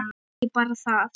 Og ekki bara það